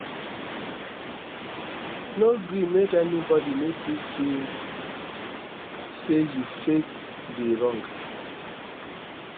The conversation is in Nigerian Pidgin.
no gree make anybody make you feel sey you faith dey wrong